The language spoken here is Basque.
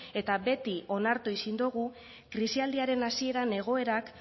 eta beti onartu ezin dugu krisialdiaren hasieran egoerak